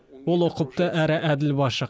ол ұқыпты әрі әділ басшы